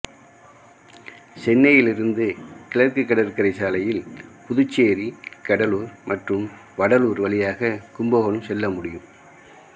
சென்னையில் இருந்து கிழக்கு கடற்கரை சாலையில் புதுச்சேரி கடலூர் மற்றும் வடலூர் வழியாக கும்பகோணம் செல்ல முடியும்